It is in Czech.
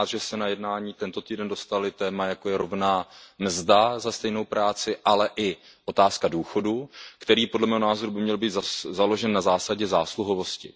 Jsem rád, že se na jednání tento týden dostaly témata, jako je rovná mzda za stejnou práci, ale i otázka důchodu, který podle mého názoru by měl být založen na zásadě zásluhovosti.